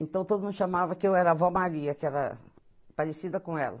Então, todo mundo chamava que eu era a avó Maria, que era parecida com ela.